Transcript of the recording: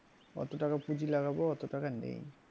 অতো টাকা পুঁজি লাগাবো অত টাকা নেই।